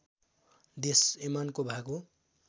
देश यमनको भाग हो